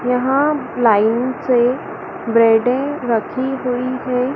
यहां लाइन से ब्रेडे रखी हुईं हैं।